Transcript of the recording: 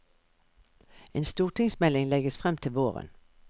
En stortingsmelding legges frem til våren.